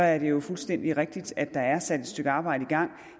er det jo fuldstændig rigtigt at der er sat et stykke arbejde i gang